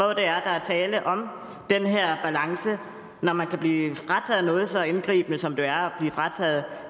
er der er tale om den her balance når man kan blive ramt af noget så indgribende som det er at blive frataget